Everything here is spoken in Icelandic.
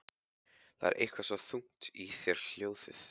Það er eitthvað svo þungt í þér hljóðið.